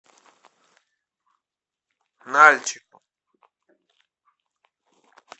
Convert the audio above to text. нальчику